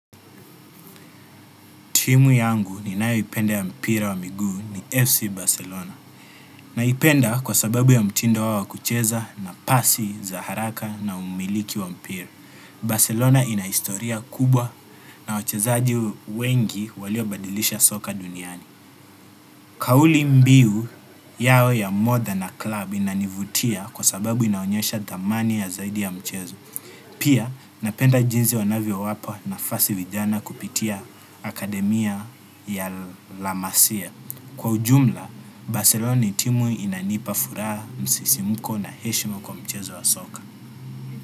Timu yangu ninayoipenda ya mpira wa miguu ni FC Barcelona. Naipenda kwa sababu ya mtindo wao wa kucheza na pasi za haraka na umiliki wa mpira. Barcelona ina historia kubwa na wachezaji wengi waliobadilisha soka duniani. Kauli mbiu yao ya more than a klub inanivutia kwa sababu inaonyesha dhamani ya zaidi ya mchezo. Pia napenda jinzi wanavyowapa nafasi vijana kupitia akademia ya la masia. Kwa ujumla, Barcelona ni timu inanipa furaha msisimuko na heshima kwa mchezo wa soka.